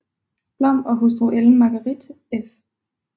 Blom og hustru Ellen Marguerite f